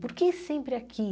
Por que sempre aqui?